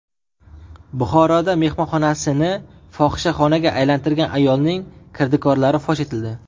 Buxoroda mehmonxonasini fohishaxonaga aylantirgan ayolning kirdikorlari fosh etildi.